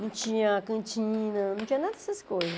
Não tinha cantina, não tinha nada dessas coisas.